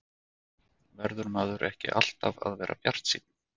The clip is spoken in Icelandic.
Verður maður ekki alltaf að vera bjartsýnn?